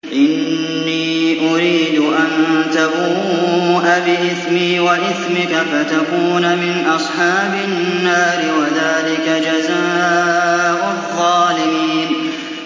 إِنِّي أُرِيدُ أَن تَبُوءَ بِإِثْمِي وَإِثْمِكَ فَتَكُونَ مِنْ أَصْحَابِ النَّارِ ۚ وَذَٰلِكَ جَزَاءُ الظَّالِمِينَ